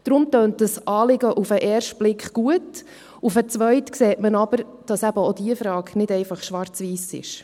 Deshalb tönt das Anliegen auf den ersten Blick gut, auf den zweiten sieht man aber, dass eben auch diese Frage nicht einfach schwarz oder weiss ist.